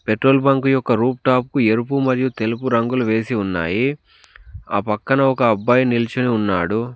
Petrol bunk యొక్క roof top ఎరుపు మరియు తెలుపు రంగులు వేసి ఉన్నాయి ఆ పక్కన ఒక అబ్బాయి నిల్చొని ఉన్నాడు.